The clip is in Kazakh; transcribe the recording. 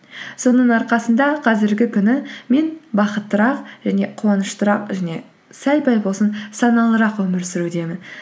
соның арқасында қазіргі күні мен бақыттырақ және қуаныштырақ және сәл пәл болсын саналырақ өмір сүрудемін